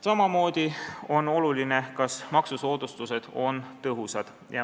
Samamoodi on oluline, kas maksusoodustused on tõhusad.